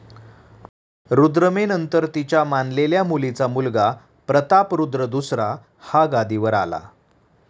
रुद्रमेनंतर तिच्या मानलेल्या मुलीचा मुलगा प्रतापरुद्र दुसरा हा गादीवर आला.